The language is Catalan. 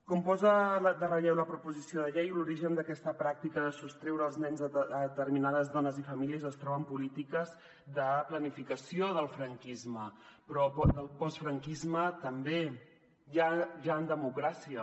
com posa en relleu la proposició de llei l’origen d’aquesta pràctica de sostreure els nens a determinades dones i famílies es troba en polítiques de planificació del franquisme però del postfranquisme també ja en democràcia